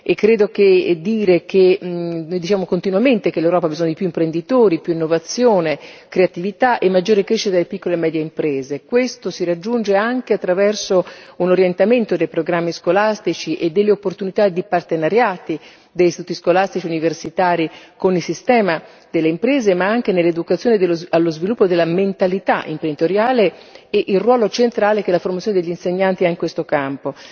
Credo che dire come noi diciamo continuamente, che l'Europa ha bisogno di più imprenditori, più innovazione, creatività e maggiore crescita delle piccole e medie imprese, questo si raggiunge anche attraverso un orientamento dei programmi scolastici e delle opportunità di partenariati dei siti scolastici, universitari, con il sistema delle imprese, ma anche nell'educazione allo sviluppo della mentalità imprenditoriale e il ruolo centrale che la formazione degli insegnanti ha in questo campo.